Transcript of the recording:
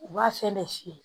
U b'a fɛn bɛɛ fiyɛ